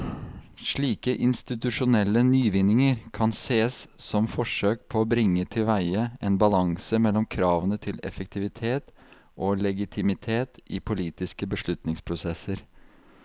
Slike institusjonelle nyvinninger kan sees som forsøk på å bringe tilveie en balanse mellom kravene til effektivitet og legitimitet i politiske beslutningsprosesser.